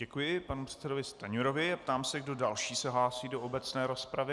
Děkuji panu předsedovi Stanjurovi a ptám se, kdo další se hlásí do obecné rozpravy.